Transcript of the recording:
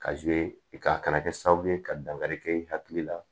ka kana kɛ sababu ye ka dankari kɛ i hakili la